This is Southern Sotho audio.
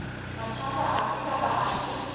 mathata afe kapa afe a